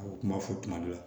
A kuma fɔ kuma dɔ la